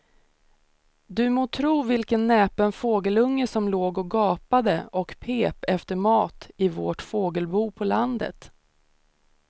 Du må tro vilken näpen fågelunge som låg och gapade och pep efter mat i vårt fågelbo på landet.